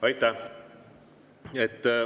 Aitäh!